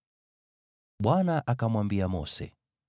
Bwana akamwambia Mose,